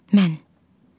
Mən.